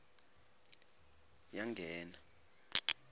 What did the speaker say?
yangena